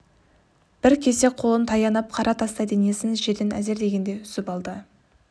бір кезде қолын таянып қара тастай денесін жерден әзер дегенде үзіп алды